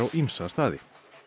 ýmsa staði